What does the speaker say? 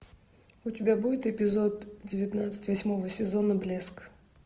у тебя будет эпизод девятнадцать восьмого сезона блеск